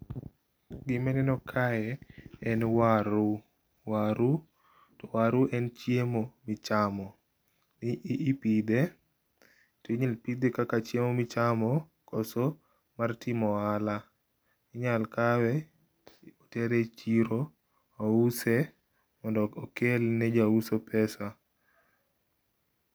Gimineno kae en waru, waru waru en chiemo michamo, ipithe to inyal ipithe kaka chiemo michamo koso mar timo ohala, inyal kawe to itere e chiro ouse mondo okelne jauso pesa.